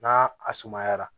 N'a a sumayara